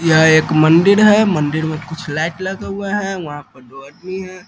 यह एक मंदिर है मंदिर में कुछ लाइट लगा हुआ है वहाँ पर दो आदमी है।